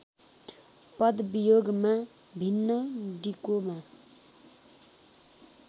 पदवियोगमा भिन्न डिकोमा